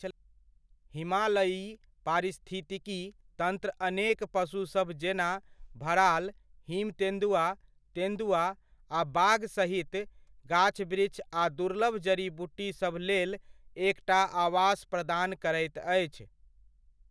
हिमालयी पारिस्थितिकी तन्त्र अनेक पशुसब जेना भराल, हिम तेन्दुआ, तेन्दुआ आ बाघ सहित, गाछ वृक्ष आ दुर्लभ जड़ी बूटी सभ लेल एकटा आवास प्रदान करैत अछि।